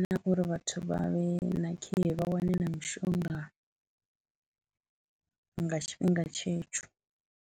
na uri vhathu vha vhe na care vha wane na mishonga nga tshifhinga tshetsho.